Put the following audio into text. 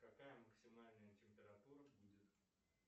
какая максимальная температура будет